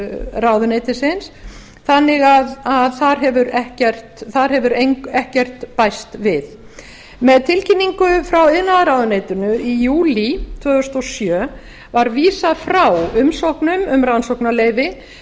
ráðuneytisins þannig að þar hefur ekkert bæst við með tilkynningu frá iðnaðarráðuneytinu í júlí tvö þúsund og sjö var vísað frá umsóknum um rannsóknarleyfi